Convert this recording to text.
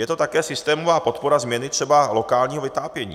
Je to také systémová podpora změny třeba lokálního vytápění.